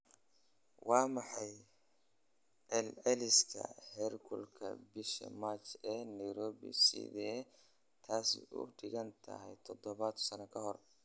waa maxay celceliska heerkulka bisha March ee nairobi sideese taasi u dhigantaa toban sano ka hor